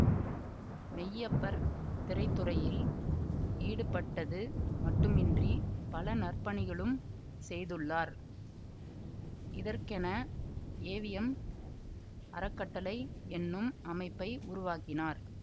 மெய்யப்பர் திரைத்துறையில் ஈடுபட்டது மட்டுமின்றி பல நற்பணிகளும் செய்துள்ளார் இதற்கென ஏவிஎம் அறக்கட்டளை என்னும் அமைப்பை உருவாக்கினார்